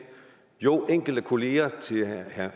jo enkelte kollegaer til herre